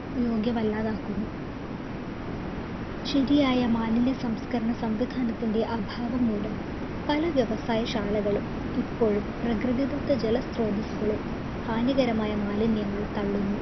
യോഗ്യമല്ലാതാക്കുന്നു ശരിയായ മാലിന്യ സംസ്കരണ സംവിധാനത്തിൻ്റെ അഭാവം മൂലം പല വ്യവസായ ശാലകളും ഇപ്പോഴും പ്രകൃതിദത്ത ജല സ്ത്രോതസുകളിൽ ഹാനികരമായ മാലിന്യങ്ങൾ തള്ളുന്നു